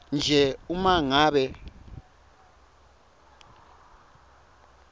nje uma ngabe